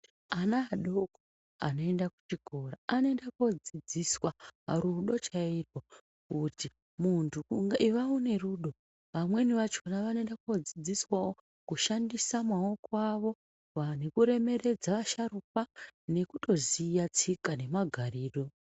Ana adoko anoenda kuchikora anoenda koodzidziswa rudo chairwo kuti muntu iva une rudo, vamweni vachona vanoenda koodzidziswawo kushandisa maoko avo nekuremeredza asharukwa nekutoziya tsika nemagariro.